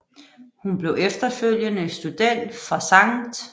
Hun blev efterfølgende student fra Sct